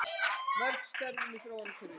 Mörg störf í þróunarverkefnum